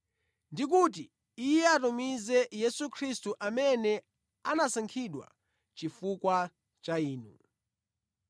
ndi kuti Iye atumize Yesu Khristu amene anasankhidwa chifukwa cha inu.